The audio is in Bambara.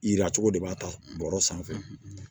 Yira cogo de b'a ta bɔlɔ sanfɛ